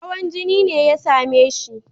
Hawan jini ne ya same shi.